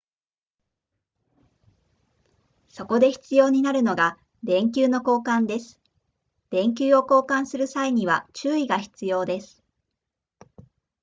そこで必要になるのが電球の交換です電球を交換する際には注意が必要です